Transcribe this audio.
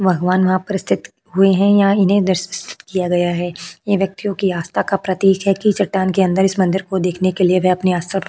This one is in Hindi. भगवान वहां पर स्तिथ हुए है यहाँ इन्हें किया गया है ये व्यक्तियों की आस्था का प्रतीक है की चटान के अंदर इस मंदिर को देखने के लिए वह अपनी --